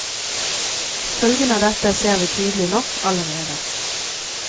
Følgene av dette ser vi tydelig nok allerede.